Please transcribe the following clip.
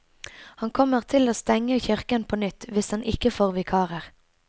Han kommer til å stenge kirken på nytt hvis han ikke får vikarer.